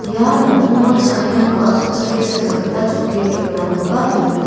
ia nokningo cha·anirangko asongchake cha·na gita chokki tebilrangkoba dona.